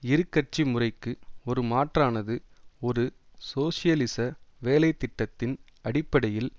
இரு கட்சி முறைக்கு ஒரு மாற்றானது ஒரு சோசியலிச வேலை திட்டத்தின் அடிப்படையில்